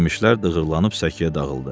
Yemişlər dığırlanıb səkiyə dağıldı.